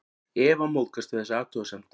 Eva móðgast við þessa athugasemd.